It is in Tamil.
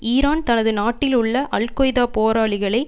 ஈரான் தனது நாட்டிலுள்ள அல் கொய்தா போராளிகளை